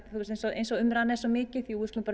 eins og umræðan er svo mikið jú við skulum